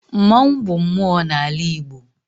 Mmanwụ bụ mmụọ n'ala Igbo.